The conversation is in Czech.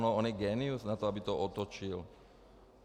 No on je génius na to, aby to otočil.